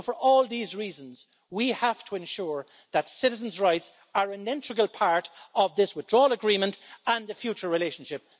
So, for all these reasons, we have to ensure that citizens' rights are an integral part of this Withdrawal Agreement and the future relationship.